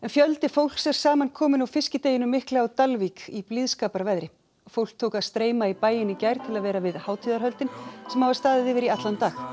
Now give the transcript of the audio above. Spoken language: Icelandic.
fjöldi fólks er samankominn á fiskideginum mikla á Dalvík í blíðskaparveðri fólk tók að streyma í bæinn í gær til að vera við hátíðarhöldin sem hafa staðið yfir í allan dag